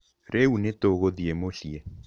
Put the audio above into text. Rĩu nĩtũgũthiĩ mũciĩ.